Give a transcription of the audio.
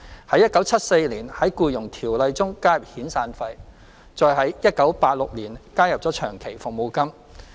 在1974年，在《僱傭條例》中加入遣散費，再於1986年加入長期服務金。